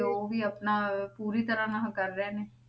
ਉਹ ਵੀ ਆਪਣਾ ਪੂਰੀ ਤਰ੍ਹਾਂ ਨਾਲ ਕਰ ਰਹੇ ਨੇ,